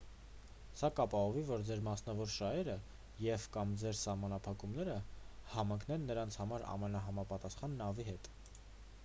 սա կապահովի որ ձեր մասնավոր շահերը և/կամ սահմանափակումները համընկնեն նրանց համար ամենահամապատասխան նավի հետ։